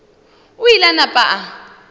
o ile a napa a